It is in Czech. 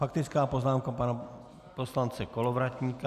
Faktická poznámka pana poslance Kolovratníka.